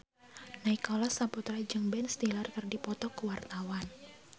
Nicholas Saputra jeung Ben Stiller keur dipoto ku wartawan